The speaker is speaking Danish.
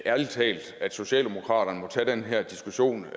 ærlig talt at socialdemokraterne må tage den her diskussion